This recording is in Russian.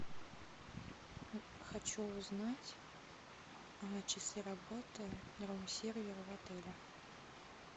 хочу узнать часы работы рум сервера в отеле